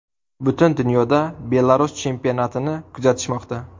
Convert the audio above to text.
Butun dunyoda Belarus chempionatini kuzatishmoqda.